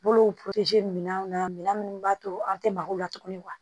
Bolo minɛnw na minɛn minnu b'a to an tɛ mako la tuguni